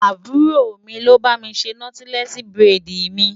Àbúrò mi ni ó bá mi ṣe nọ́tílẹ́ẹ̀sì búrẹ́dì mi.